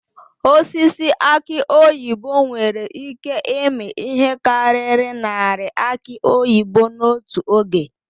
Osisi aki oyibo nwere ịke ịmi ihe karịrị narị aki oyibo n'otu oge.